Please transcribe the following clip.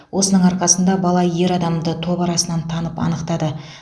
осының арқасында бала ер адамды топ арасынан танып анықтады